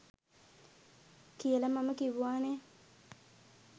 කියල මම කිව්වා නේ.